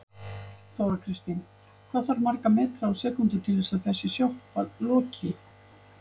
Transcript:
Viðskiptavinir mínir hafa krafist þess.